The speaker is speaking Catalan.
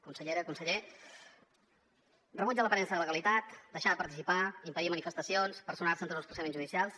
consellera conseller rebuig a l’aparença de legalitat deixar de participar impedir manifestacions personar se en tots els procediments judicials